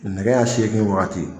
Nɛgɛ ɲan seegin waati.